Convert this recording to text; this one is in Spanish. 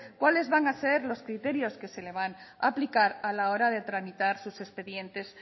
cuáles van a ser los criterios que se le van a aplicar a la hora de tramitar sus expedientes